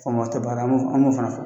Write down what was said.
Faama tɛ baara an b'o fana fɔ